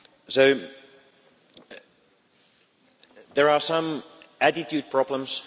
So there are some attitude problems.